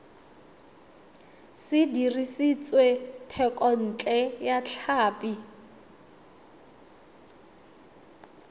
se dirisitswe thekontle ya tlhapi